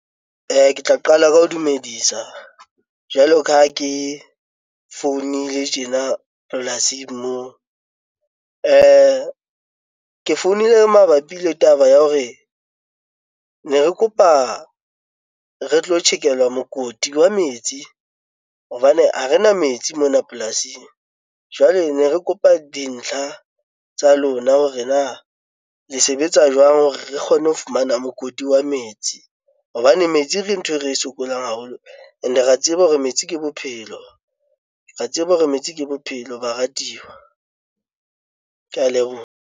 Ke tla qala ka ho dumedisa jwalo ka ha ke founile tjena polasing moo, ke founile mabapi le taba ya hore ne re kopa re tlo tjhekelwa mokoti wa metsi hobane ha re na metsi mona polasing. Jwale ne re kopa dintlha tsa lona hore na le sebetsa jwang hore re kgone ho fumana mokoti wa metsi hobane metsi ke nthwe re sokola haholo and re a tseba hore metsi ke bophelo, re a tseba hore metsi ke bophelo baratiwa ke ya leboha.